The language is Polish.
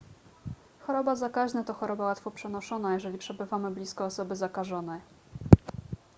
choroba zakaźna to choroba łatwo przenoszona jeżeli przebywamy blisko osoby zakażonej